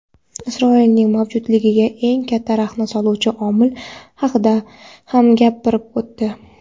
Isroilning mavjudligiga eng katta raxna soluvchi omil haqida ham gapirib o‘tdi.